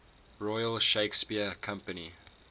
royal shakespeare company